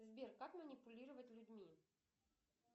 сбер как манипулировать людьми